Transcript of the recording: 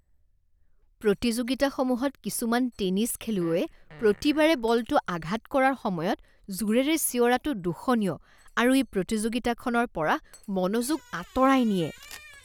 প্ৰতিযোগিতাসমূহত কিছুমান টেনিছ খেলুৱৈয়ে প্ৰতিবাৰে বলটো আঘাত কৰাৰ সময়ত জোৰেৰে চিঞৰাটো দোষণীয় আৰু ই প্ৰতিযোগিতাখনৰ পৰা মনোযোগ আঁতৰাই নিয়ে।